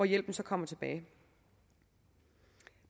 hjælpen så kommer tilbage